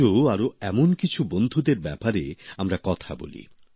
আজও আরো এমন কিছু বন্ধুদের ব্যাপারে আমরা কথা বলি